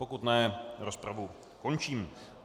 Pokud ne, rozpravu končím.